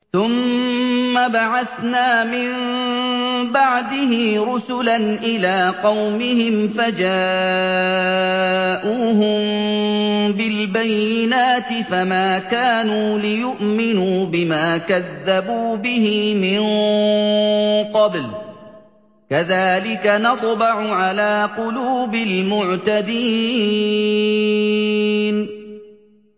ثُمَّ بَعَثْنَا مِن بَعْدِهِ رُسُلًا إِلَىٰ قَوْمِهِمْ فَجَاءُوهُم بِالْبَيِّنَاتِ فَمَا كَانُوا لِيُؤْمِنُوا بِمَا كَذَّبُوا بِهِ مِن قَبْلُ ۚ كَذَٰلِكَ نَطْبَعُ عَلَىٰ قُلُوبِ الْمُعْتَدِينَ